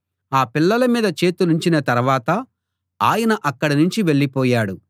ఆ పిల్లల మీద చేతులుంచిన తరవాత ఆయన అక్కడనుంచి వెళ్ళిపోయాడు